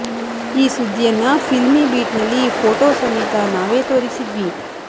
ಈ ಸುದ್ದಿಯನ್ನ Filmibeat ನಲ್ಲಿ ಫೋಟೋ ಸಮೇತ ನಾವೇ ತೋರಿಸಿದ್ವಿ